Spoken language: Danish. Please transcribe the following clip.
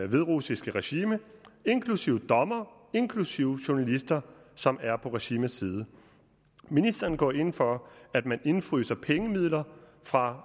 hviderussiske regime inklusive dommere inklusive journalister som er på regimets side ministeren går ind for at man indefryser pengemidler fra